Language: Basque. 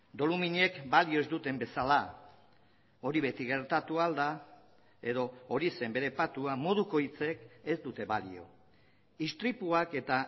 doluminek balio ez duten bezala hori beti gertatu ahal da edo hori zen bere patua moduko hitzek ez dute balio istripuak eta